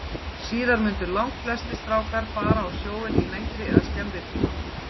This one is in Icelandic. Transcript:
Síðar mundu langflestir strákar fara á sjóinn í lengri eða skemmri tíma.